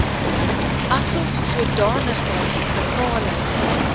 asof sodanige bepaling